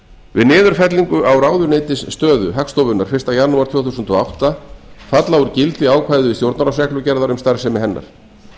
við niðurfellingu á ráðuneytisstöðu hagstofunnar fyrsta janúar tvö þúsund og átta falla úr gildi ákvæði stjórnarráðsreglugerðar um starfsemi hennar